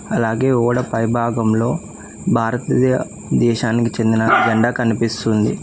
అలాగే ఓడ పైభాగంలో భారతీయ దేశానికి చెందిన జెండా కనిపిస్తు ఉంది.